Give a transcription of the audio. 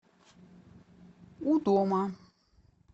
у дома